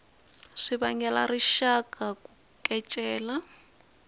swi vangela rixaka ku kecela